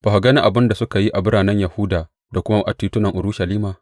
Ba ka gani abin da suke yi a biranen Yahuda da kuma a titunan Urushalima?